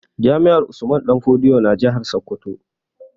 Jami'ar Usman danfodiyo na jihar Sokoto